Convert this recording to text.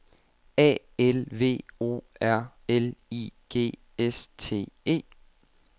A L V O R L I G S T E